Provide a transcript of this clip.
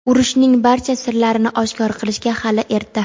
Urushning barcha sirlarini oshkor qilishga hali erta.